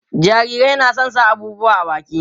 jarirai na da San sa abubuwa a baki